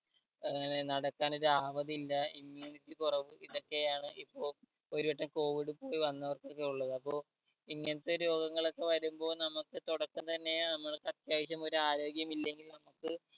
അങ്ങനെ നടക്കാനൊരു ആവതില്ല immunity കൊറവ് ഇതൊക്കെ ആണ് ഇപ്പോ ഒരു വട്ടം covid പോയി വന്നവർക്കൊക്കെ ഉള്ളത് അപ്പോ ഇങ്ങനത്തെ രോഗങ്ങൾ ഒക്കെ വരുമ്പോ നമ്മക് തൊടക്കം തന്നെ നമ്മൾക്ക് അത്യാവശ്യം ഒരാരോഗ്യമില്ലെങ്കിൽ നമ്മക്ക്